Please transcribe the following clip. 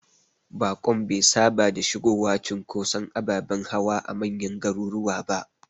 Bakon be saba da shigowa cunkoson ababen hawa a manyan garuruwa ba.